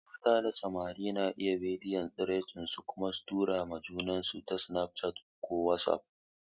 Yan mata da samari na iya bidiyon tsiraici su kuma tura ma junansu ta snaf chat ko wasuf.